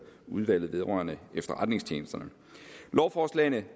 udvalget vedrørende efterretningstjenesterne lovforslagene